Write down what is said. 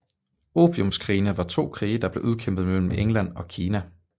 Opiumskrigene var to krige der blev udkæmpet mellem England og Kina